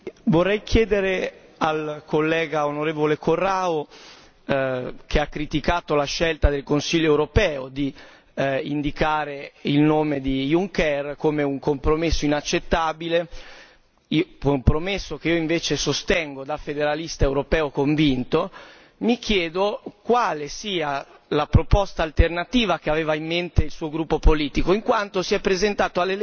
Signor Presidente, vorrei chiedere al collega onorevole Corrao, che ha criticato la scelta del Consiglio europeo di indicare il nome di Juncker, come un compromesso inaccettabile compromesso che io invece sostengo da federalista europeo convinto quale sia la proposta alternativa che aveva in mente il suo gruppo politico, in quanto si è presentato alle elezioni